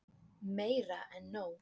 Meira en nóg.